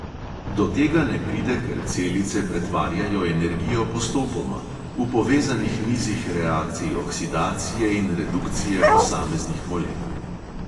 Do tega ne pride, ker celice pretvarjajo energijo postopoma, v povezanih nizih reakcij oksidacije in redukcije posameznih molekul.